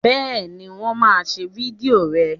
Bẹ́ẹ̀ ni, wọ́n máa ṣe fídíò rẹ